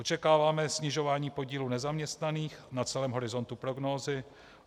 Očekáváme snižování podílu nezaměstnaných na celém horizontu prognózy.